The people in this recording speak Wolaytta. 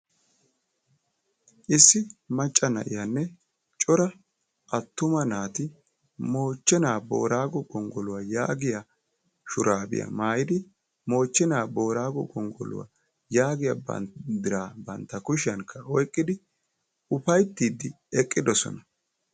Issi macca na'iyaanne cora attuma naati Moochchena Boorago gonggoluwaa yaagiyaa shurabiyaa maayyidi Moochchena Boorago gonggoluwa yaagiyaa banddiraa bantta kushiyaan oyqqidi uffayttidi eqqidoosona.